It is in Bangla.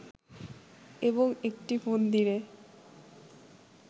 এবং একটি মন্দিরে